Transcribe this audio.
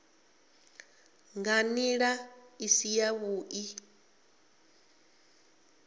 nga nḓila i si yavhuḓi